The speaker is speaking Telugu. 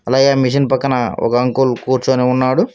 అలాగే ఆ మిషన్ పక్కన ఒక అంకుల్ కూర్చొని ఉన్నాడు.